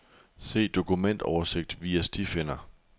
Se dokumentoversigt via stifinder.